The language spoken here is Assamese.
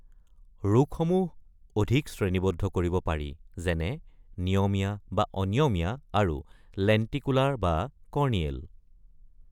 ৰোগসমূহ অধিক শ্ৰেণীবদ্ধ কৰিব পাৰি, যেনে নিয়মীয়া বা অনিয়মীয়া আৰু লেণ্টিকুলাৰ বা কৰ্ণিয়েল।